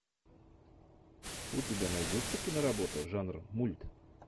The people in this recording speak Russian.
у тебя найдется киноработа жанр мульт